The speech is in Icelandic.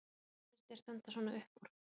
Hvað finnst þér standa svona upp úr?